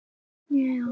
Og Gerður kemur.